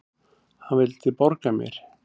Hann vildi borga mér!